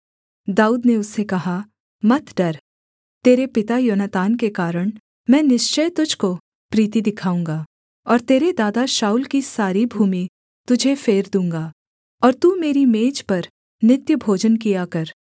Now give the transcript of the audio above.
दाऊद ने उससे कहा मत डर तेरे पिता योनातान के कारण मैं निश्चय तुझको प्रीति दिखाऊँगा और तेरे दादा शाऊल की सारी भूमि तुझे फेर दूँगा और तू मेरी मेज पर नित्य भोजन किया कर